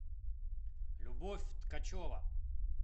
любовь ткачева